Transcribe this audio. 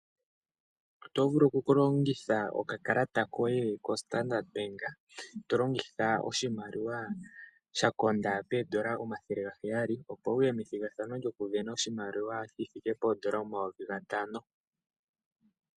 Oto vulu okulongitha okakalata koye koStandard Bank. To longitha oshimaliwa sha konda poodola dhaNamibia omathele gaheyali (N$ 700), opo wu ye methigathano lyokusindana oshimaliwa shi thike poodola dhaNamibia omayovi gatano (N$ 5000).